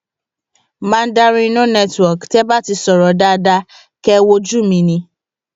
mandarin no network tẹ ẹ bá ti sọrọ dáadáa kẹ ẹ wo ojú mi ni